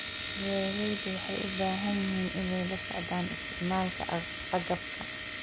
Beeraleydu waxay u baahan yihiin inay la socdaan isticmaalka agabka.